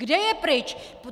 Kde je pryč?